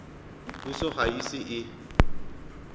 puso ga e ise e